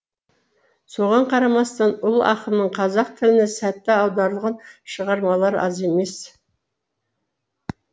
соған қарамастан ұлы ақынның қазақ тіліне сәтті аударылған шығармалары аз емес